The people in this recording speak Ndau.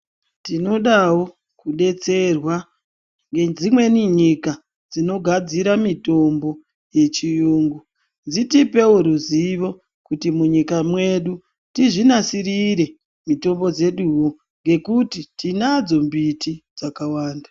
Tinodawo kudetserwa ngedzimweni nyika dzinogadzira mitombo yechiyungu dzitipewo ruzivo kutimunyika mwedu tizvinasirire mitombo dzeduwo nekuti tinadadzo mbiti dzakawanda